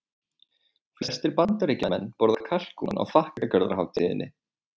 Flestir Bandaríkjamenn borða kalkún á þakkargjörðarhátíðinni.